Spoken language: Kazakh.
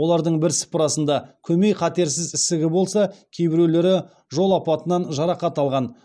олардың бірсыпырасында көмей қатерсіз ісігі болса кейбіреулері жол апатынан жарақат алған